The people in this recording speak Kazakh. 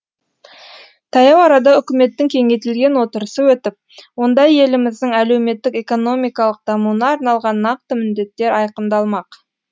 таяу арада үкіметтің кеңейтілген отырысы өтіп онда еліміздің әлеуметтік экономикалық дамуына арналған нақты міндеттер айқындалмақ